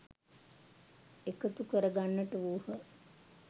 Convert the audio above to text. එකතු කරගන්නට වූහ.